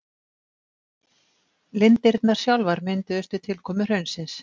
Lindirnar sjálfar mynduðust við tilkomu hraunsins.